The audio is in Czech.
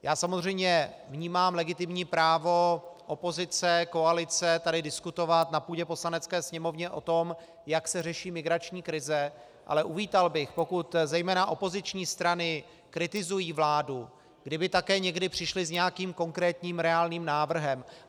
Já samozřejmě vnímám legitimní právo opozice, koalice tady diskutovat na půdě Poslanecké sněmovny o tom, jak se řeší migrační krize, ale uvítal bych, pokud zejména opoziční strany kritizují vládu, kdyby také někdy přišly s nějakým konkrétním, reálným návrhem.